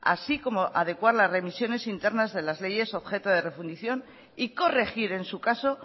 así como adecuar las remisiones internas de las leyes objeto de refundición y corregir en su caso